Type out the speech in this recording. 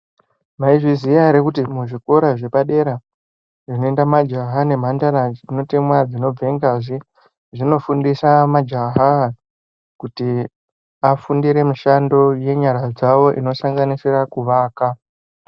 Maizviziya here kuti muzvikora zvepadera zvinoenda majaha nemhandara dzinotemwa dzinobve ngazi zvinofundisa majaha kuti afundire mishando yenyara dzavo inosanganisira kuvaka.